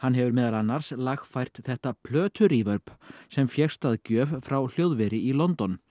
hefur meðal annars lagfært þetta sem fékkst að gjöf frá hljóðveri í London